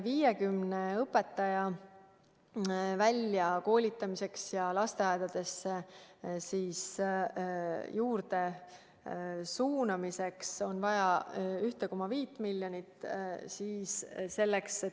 50 õpetaja väljakoolitamiseks ja lasteaedadesse juurde suunamiseks on vaja 1,5 miljonit.